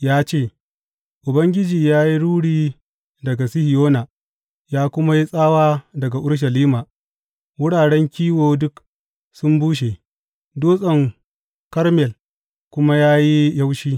Ya ce, Ubangiji ya yi ruri daga Sihiyona ya kuma yi tsawa daga Urushalima; wuraren kiwo duk sun bushe, dutsen Karmel kuma ya yi yaushi.